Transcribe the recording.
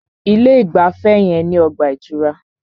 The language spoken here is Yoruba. Ilé ìgbafẹ́ yẹn ní ọgbà ìtura.